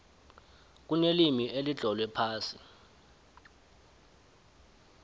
kunelimi elitlolwe phasi